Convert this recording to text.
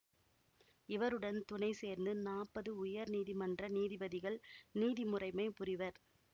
இவருடன் துணை சேர்ந்து நாப்பது உயர் நீதிமன்ற நீதிபதிகள் நீதிமுறைமை புரிவர்